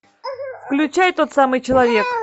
включай тот самый человек